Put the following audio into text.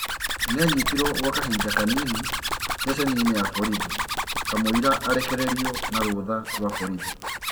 Nĩanyitirwo gwa kahinda kanini ceceni-ini ya borithi kamwira arekerĩrio na rũtha rwa borithi.